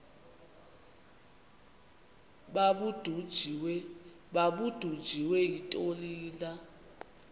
babudunjiswe yintoni na